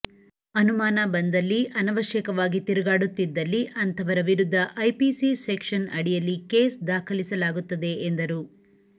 ಅನುಮಾನ ಬಂದಲ್ಲಿ ಅನವಶ್ಯಕವಾಗಿ ತಿರುಗಾಡುದಿದ್ದಲ್ಲಿ ಅಂಥವರ ವಿರುದ್ಧ ಐಪಿಸಿ ಸೆಕ್ಷನ್ ಅಡಿಯಲ್ಲಿ ಕೇಸ್ ದಾಖಲಿಸಲಾಗುತ್ತದೆ ಎಂದರು